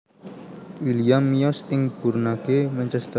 William miyos ing Burnage Manchester